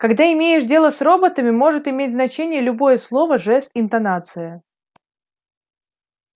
когда имеешь дело с роботами может иметь значение любое слово жест интонация